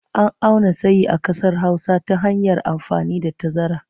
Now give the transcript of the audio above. An auna tsayi a ƙasar Hausa ta hanyar amfani da tazara.